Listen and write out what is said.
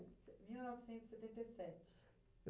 mil novecentos e setenta e sete